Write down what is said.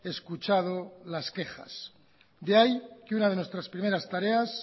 escuchado las quejas de ahí que una de nuestros primeras tareas